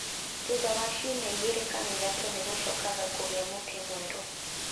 Thutha wa ciumia igĩrĩ kana ithatũ nĩ gũcokaga kũgĩa mũtĩ mwerũ.